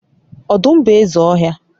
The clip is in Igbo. odum bu eze ohia